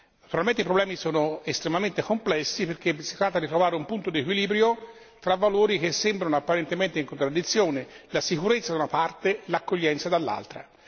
Naturalmente i problemi sono estremamente complessi perché si tratta di trovare un punto di equilibrio tra valori che sembrano apparentemente in contraddizione, la sicurezza da una parte, l'accoglienza dall'altra.